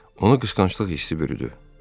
Onu qısqanclıq hissi bürüdü.